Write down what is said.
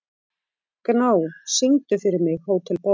Gná, syngdu fyrir mig „Hótel Borg“.